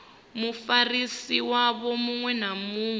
mufarisi wavho muṅwe na muṅwe